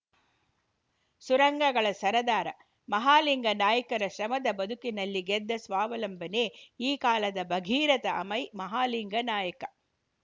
ಸುರಂಗಗಳ ಸರದಾರ ಮಹಾಲಿಂಗ ನಾಯ್ಕರ ಶ್ರಮದ ಬದುಕಿನಲ್ಲಿ ಗೆದ್ದ ಸ್ವಾವಲಂಬನೆ ಈ ಕಾಲದ ಭಗೀರಥ ಅಮೈ ಮಹಾಲಿಂಗ ನಾಯ್ಕ